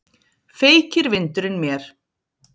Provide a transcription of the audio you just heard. Feykir vindurinn mér.